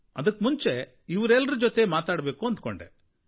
ಅದಕ್ಕೆ ಮುಂಚೆ ಇವರೆಲ್ಲರ ಜೊತೆ ಮಾತಾಡಬೇಕು ಅಂದ್ಕೊಂಡೆ